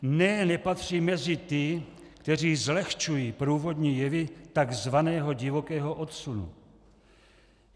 Ne, nepatřím mezi ty, kteří zlehčují průvodní jevy takzvaného divokého odsunu.